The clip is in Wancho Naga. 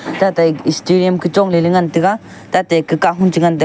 tatai starium ka chongley ley ngan taiga tate kahun chenga taiga.